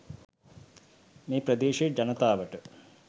මේ ප්‍රදේශයේ ජනතාවට